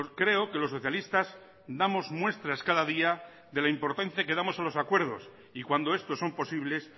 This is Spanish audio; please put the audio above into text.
creo que los socialistas damos muestras cada día de la importancia que damos a los acuerdos y cuando estos son posibles